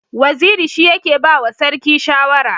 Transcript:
Waziri shi yake ba wa sarki shawara.